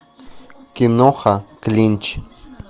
киноха клинч